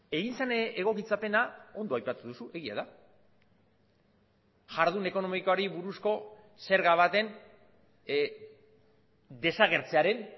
egin zen egokitzapena ondo aipatu duzu egia da jardun ekonomikoari buruzko zerga baten desagertzearen